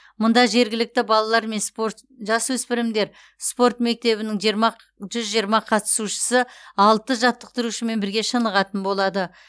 мұнда жергілікті балалар мен спорт жасөспірімдер спорт мектебінің жүз жиырма қатысушысы алты жаттықтырушымен бірге шынығатын болады